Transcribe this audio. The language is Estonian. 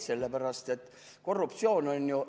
Sellepärast, et korruptsioon on ju ...